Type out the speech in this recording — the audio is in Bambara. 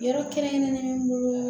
Yɔrɔ kɛrɛnkɛrɛnnen bolo